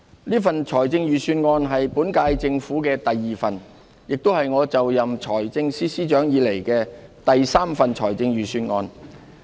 這份財政預算案是本屆政府的第二份，亦是我就任財政司司長以來的第三份預算案。